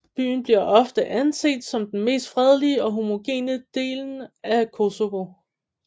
Byen bliver ofte anset som den mest fredelige og homogene delen av Kosovo